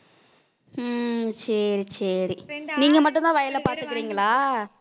உம் சரி சரி நீங்க மட்டும்தான் வயலைப் பார்த்துக்கிறீங்களா